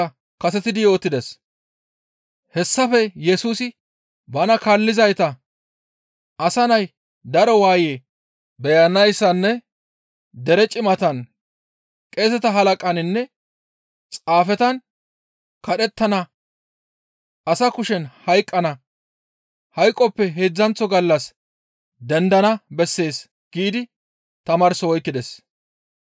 Hessafe Yesusi bana kaallizayta, «Asa Nay daro waaye beyanayssanne dere cimatan, qeeseta halaqaninne xaafetan kadhettana; asa kushen hayqqana, hayqoppe heedzdzanththo gallas dendana bessees» giidi tamaarso oykkides.